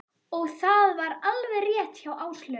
Og það var alveg rétt hjá Áslaugu.